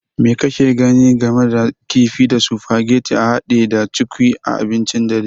Me kake gani game da kifi da sufageti hade da cukwui a abincin dare?